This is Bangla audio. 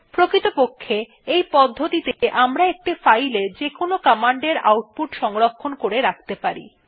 প্রকৃতপক্ষে এই পদ্ধতিতে আমরা একটি ফাইলে যেকোন কমান্ডের আউটপুট সংরক্ষণ করে রাখতে পারি